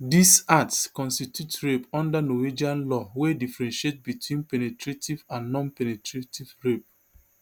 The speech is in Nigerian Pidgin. dis acts constitute rape under norwegian law wey differentiate between penetrative and nonpenetrative rape